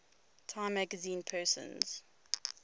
time magazine persons